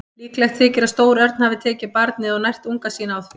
Líklegt þykir að stór örn hafi tekið barnið og nært unga sína á því.